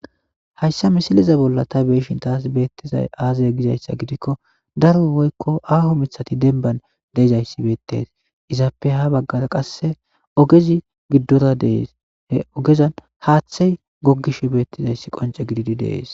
Haysa misile bolla ta be'ishin taas beetizay aaze giiko daro woyko aaho mithtati dembban de'izaysi beetes izappe habaggara qasse ogezi giddora de'es he ogezan haaththe gogishe beetizaysi qonće gididi de'es.